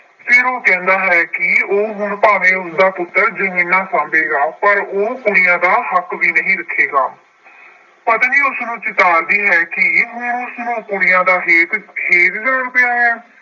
ਫਿਰ ਉਹ ਕਹਿੰਦਾ ਹੈ ਕਿ ਭਾਵੇਂ ਹੁਣ ਉਸਦਾ ਪੁੱਤਰ ਜਮੀਨਾਂ ਸਾਂਭੇਗਾ, ਪਰ ਉਹ ਕੁੜੀਆਂ ਦਾ ਹੱਕ ਵੀ ਨਹੀਂ ਰੱਖੇਗਾ। ਪਤਨੀ ਉਸਨੂੰ ਚਿਤਾਰਦੀ ਹੈ ਕਿ ਹੁਣ ਉਸਨੂੰ ਕੁੜੀਆਂ ਦਾ ਹੇਤ ਛੇਦਦਾ ਪਿਆ ਹੈ।